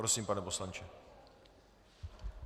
Prosím, pane poslanče.